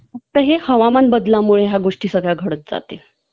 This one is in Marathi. हवामानबदलामुळे ह्या गोष्टी सगळ्या घडत जातील